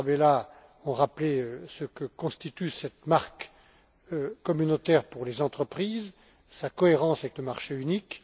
Tarabella, ont rappelé ce que constitue cette marque communautaire pour les entreprises, sa cohérence avec le marché unique.